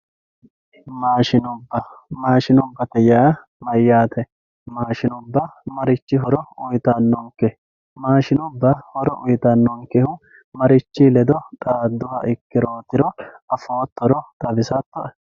maashshinubba maashshinubbate yaa mayyate maashshinubba marichi horo uytannonke maashsinubba horo uyitannonkeho marichi ledo xaadduha ikkirootiro afoottoro xawisattoe